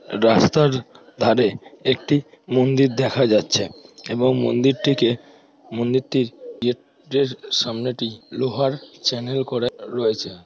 রাস্তার ধারে একটি মন্দির দেখা যাচ্ছে এবং মন্দিরটিকে মন্দিরটির গেট -এর সামনেটি লোহার চ্যানেল করা রয়েছে।